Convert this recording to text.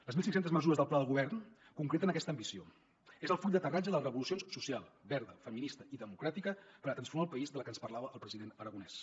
les mil cinc cents mesures del pla de govern concreten aquesta ambició és el full d’aterratge de les revolucions social verda feminista i democràtica per transformar el país de la que ens parlava el president aragonès